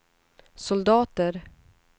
soldater